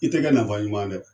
I tɛ kɛ nafa ɲuman ye dɛ.